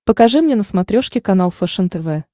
покажи мне на смотрешке канал фэшен тв